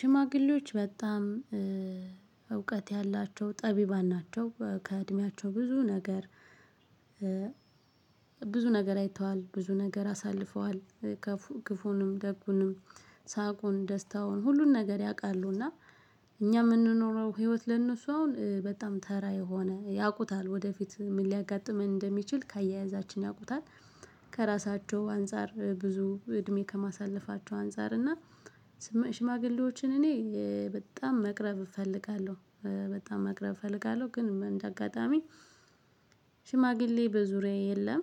ሽማግሌዎች በጣም እውቀት ያላቸው ጠቢባን ናቸው ከእድሜያቸው ብዙ ነገር ብዙ ነገር አይተዋል ብዙ ነገር አሳልፈዋል። ክፉንም ደጉንም ሳቁን ደስታውን ሁሉን ነገር ያውቃሉ። እና እኛ ምንኖረው ህይወት ለነሱ አሁን በጣም ተራ የሆነ ያውቁታል ወደፊት ምን ሊያጋጥመን እንደሚችል ከአያያዛችን ያውቁታል። ከራሳቸው አንፃር ብዙ እድሜ ከማሳለፋቸው አንፃር እና ሽማግሌዎችን እኔ በጣም መቅረብ እፈልጋለሁ። በጣም መቅረብ እፈልጋለሁ ግን እንደ አጋጣሚ ሽማግሌ በዙሪያዬ የለም።